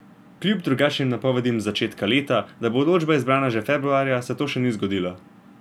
Kljub drugačnim napovedim z začetka leta, da bo odločba izdana že februarja, se to še ni zgodilo.